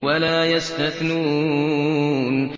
وَلَا يَسْتَثْنُونَ